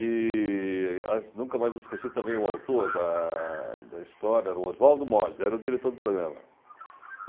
E as nunca mais esqueci também o autor da da história, era o Oswaldo Moles, era o diretor do programa.